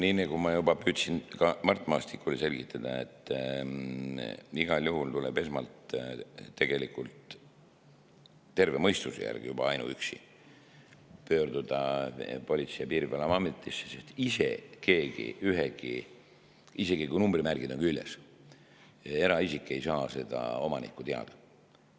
Nii nagu ma juba püüdsin ka Mart Maastikule selgitada, igal juhul tuleb esmalt ainuüksi terve mõistuse järgi pöörduda Politsei‑ ja Piirivalveametisse, sest isegi kui on numbrimärgid küljes, ei saa eraisik seda omanikku teada saada.